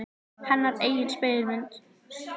Hennar eigin spegilmynd.